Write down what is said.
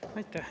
Aitäh!